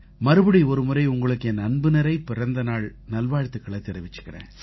மறுபடி ஒருமுறை உங்களுக்கு என் அன்புநிறை பிறந்தநாள் வாழ்த்துக்களைத் தெரிவிச்சுக்கறேன்